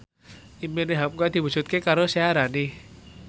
impine hamka diwujudke karo Syaharani